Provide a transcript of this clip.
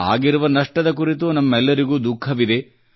ಆಗಿರುವ ನಷ್ಟದ ಕುರಿತು ನಮ್ಮೆಲ್ಲರಿಗೂ ದುಃಖವಿದೆ